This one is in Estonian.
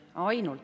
Hea juhataja!